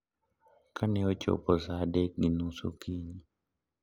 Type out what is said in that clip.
Ka ne ochopo sa adek gi nus okinyi,